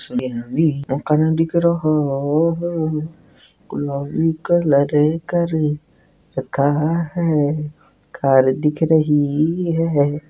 का नाम दिख रहो हो गुलाबी कलर कर रखा है कार दिख रही है।